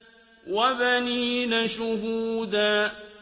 وَبَنِينَ شُهُودًا